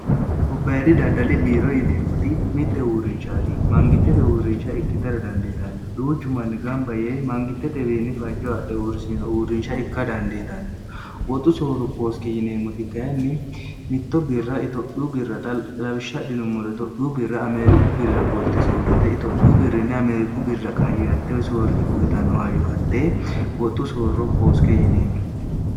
gobbayidi daddali biiro yineemmoti mitte uurrinchaati mangittete uurrincha ikki tara dandeetanno duuchu manni gamba yee mangittetewiinni fajjo adhe uurrisino uurrinsha ikka dandeetanno woxu soorro kooske yineemmoti kayinni mitto birra itophiu birraxa labishshadhinummore tophuu birra ameeriku birra qolte soorite itophuu birrinne ameeriku birra qayaartei soorrite uyitanno ha yo hatte woxxu soorro kooske yineemmo